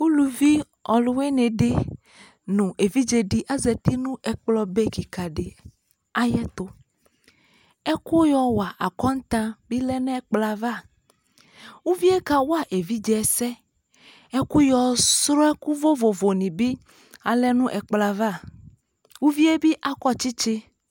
Ulu ɔluwene de no evidze de azati no ɛkplɔ be kika de ayetoƐku yɔ wa akɔntan be lɛ nɛkplɔ avaUvie kawa evidze asɛƐku yɔ srɔ ɛku vovovo ne be alɛ no ɛkolɔ avaUvie be akɔ tsetse